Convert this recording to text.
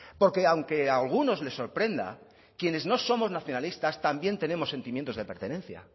porque aunque a algunos le sorprenda quienes no somos nacionalistas también tenemos sentimientos de pertenencia